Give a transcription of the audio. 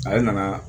Ale nana